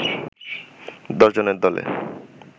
দশ জনের দলে